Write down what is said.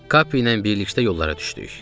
Kapi ilə birlikdə yollara düşdük.